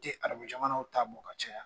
N tɛ arabujamanaw ta bɔ ka cayaya